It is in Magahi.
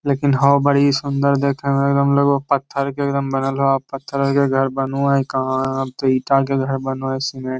लेकिन होअ बड़ी सूंदर देखे में एकदम लगो हेय पत्थर के एकदम बनल होअ आ पत्थर के घर बनू हेय कहा हेय आब ते ईटा के घर बनो हेय सीमेंट --